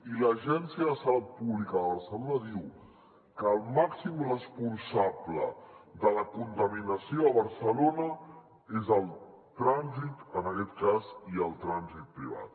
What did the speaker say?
i l’agència de salut pública de barcelona diu que el màxim responsable de la contaminació a barcelona és el trànsit en aquest cas i el trànsit privat